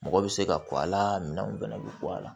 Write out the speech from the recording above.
Mɔgɔ bɛ se ka bɔ a la minɛnw bɛɛ bɛ bɔ a la